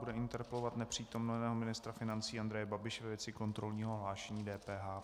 Bude interpelovat nepřítomného ministra financí Andreje Babiše ve věci kontrolního hlášení DPH.